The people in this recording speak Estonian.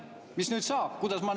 Mis nüüd saab?